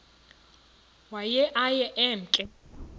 waye aye emke